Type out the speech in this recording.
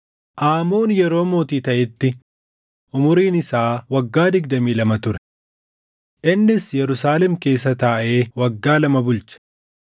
Aamoon yeroo mootii taʼetti umuriin isaa waggaa digdamii lama ture. Innis Yerusaalem keessa taaʼee waggaa lama bulche.